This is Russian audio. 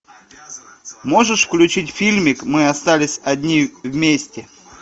можешь включить фильмик мы остались одни вместе